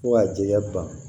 Fo ka jɛya ban